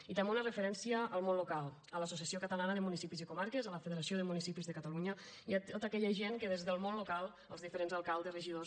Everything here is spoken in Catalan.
i també una referència al món local a l’associació catalana de municipis i comarques a la federació de municipis de catalunya i a tota aquella gent que des del món local els diferents alcaldes regidors